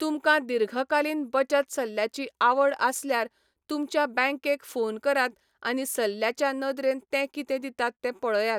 तुमकां दीर्घकालीन बचत सल्ल्याची आवड आसल्यार तुमच्या बँकेक फोन करात आनी सल्ल्याच्या नदरेन ते कितें दितात तें पळयात.